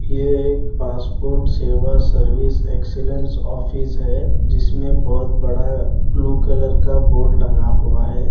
ये एक पासपोट सेवा सर्विस एक्सेलंस ऑफिस है जिसमे बहोत बड़ा ब्लू कलर का बोर्ड लगा हुआ है।